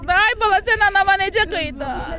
Ay bala, sən anava necə qıydın?